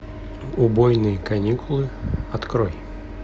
убойные каникулы открой